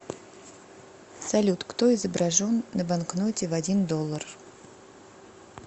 салют кто изображен на банкноте в один доллар